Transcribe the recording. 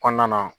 Kɔnɔna na